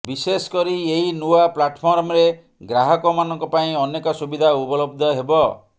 ବିଶେଷକରି ଏହି ନୂଆ ପ୍ଲାଟଫର୍ମରେ ଗ୍ରାହକମାନଙ୍କ ପାଇଁ ଅନେକ ସୁବିଧା ଉପଲବ୍ଧ ହେବ